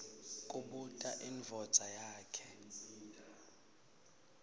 kubuta indvodza yakhe